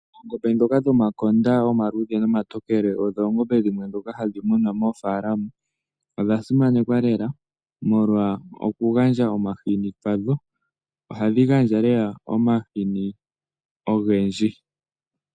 Oongombe dhoka dhomakonda omaluudhe nomatokele odho oongombe dhimwe dhoka hadhi munwa moofalama, odhasimanekwa lela molwa okugandja omahini kwadho, ohadhi gandja lela omahini ogendji.